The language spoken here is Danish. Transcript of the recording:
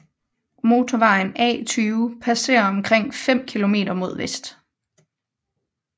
Motorvejen A 20 passerer omkring fem kilometer mod vest